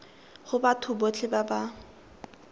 go batho botlhe ba ba